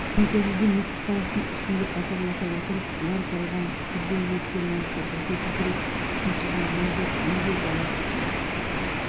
төңкерілген ескі қайықтың үстіне қатарласа отырып бұлар салған бірде ерке назды бірде көкірек шымшыған мұңлы әнге дала күрсінді